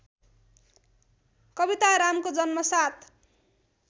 कवितारामको जन्म ७